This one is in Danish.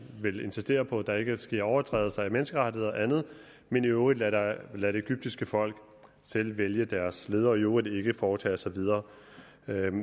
vil insistere på at der ikke sker overtrædelser af menneskerettigheder og andet men i øvrigt lade lade det egyptiske folk selv vælge deres ledere og i øvrigt ikke foretage sig videre